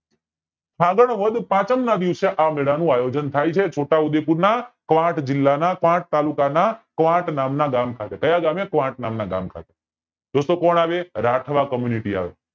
ફાગણ વદ પાંચમ ના દિવસે આ મેલા નું આયોજન થાય છે છોટા ઉદયપુર ના ક્વાટ જિલ્લા ના ક્વોટ તાલુકાના ક્વોટ નામ ના ગામ ખાતે કાયા ખાતે ક્વોટ નામ ના ગામ ખાતે દોસ્તો કોણ આવે રાઠવા community આવે